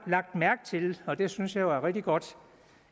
lagt mærke til og det synes jeg er rigtig godt